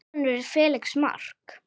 Þeirra sonur er Felix Mark.